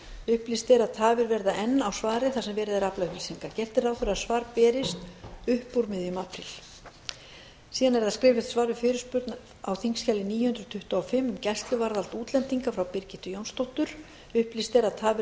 upplýst er að tafir verða enn á svari þar sem verið er að afla upplýsinga gert er ráð fyrir að svar berist upp úr miðjum apríl skriflegt svar við fyrirspurn á þingskjali níu hundruð tuttugu og fimm um gæsluvarðhald útlendinga frá birgittu jónsdóttur upplýst er að tafir